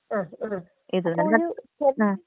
ആ ആ *not clear*.